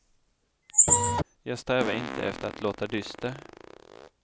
Jag strävar inte efter att låta dyster.